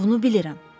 Bunu bilirəm.